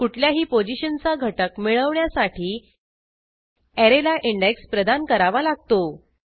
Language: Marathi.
कुठल्याही पोझिशनचा घटक मिळवण्यासाठी ऍरेला इंडेक्स प्रदान करावा लागतो